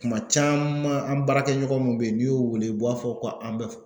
Kuma caman an baarakɛɲɔgɔn mun bɛ yen n'i y'o wele u b'a fɔ ko an bɛ